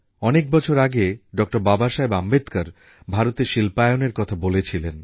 অনেক বছর আগে ডক্টর বাবাসাহেব আম্বেদকর ভারতে শিল্পায়নের কথা বলেছিলেন